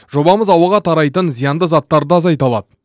жобамыз ауаға тарайтын зиянды заттарды да азайта алады